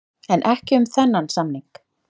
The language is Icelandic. En ekki um þennan samning.